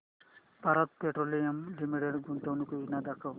Bharat Petroleum Limited गुंतवणूक योजना दाखव